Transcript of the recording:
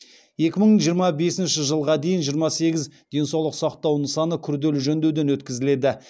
екі мың жиырма бесінші жылға дейін жиырма сегіз денсаулық сақтау нысаны күрделі жөндеуден өткізіледі